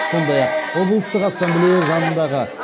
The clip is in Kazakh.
сондай ақ облыстық ассамблея жанындағы